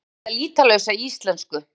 Stúlkan talaði lýtalausa íslensku.